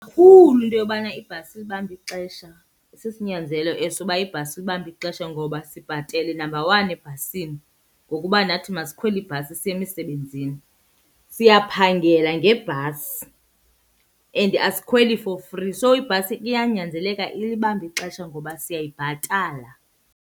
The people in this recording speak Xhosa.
into yobana ibhasi ilibambe ixesha. Sisinyanzelo eso uba ibhasi ilibambe ixesha ngoba sibhatele number one ebhasini ngokuba nathi masikhwele ibhasi siye emisebenzini. Siyaphangela ngebhasi and asikhweli for free, so ibhasi iyanyanzeleka ilibambe ixesha ngoba siyayibhatala.